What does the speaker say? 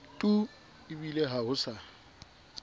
tu ebile ha ho sa